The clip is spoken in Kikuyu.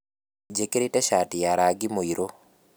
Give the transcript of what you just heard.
Njĩkĩrĩte cati ya rangi mũirũ